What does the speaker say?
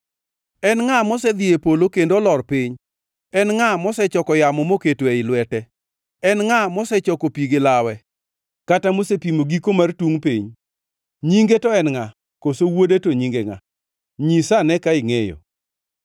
En ngʼa mosedhi e polo kendo olor piny? En ngʼa mosechoko yamo moketo ei lwete? En ngʼa mosechoko pi gi lawe kata mosepimo giko mar tungʼ piny? Nyinge to en ngʼa, koso wuode to nyinge ngʼa? Nyisa ane ka ingʼeyo!